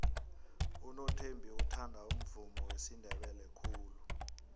unothembi uthanda umvumo wesindebele khulu